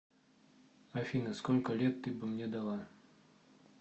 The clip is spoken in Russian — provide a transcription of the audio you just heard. афина сколько лет ты бы мне дала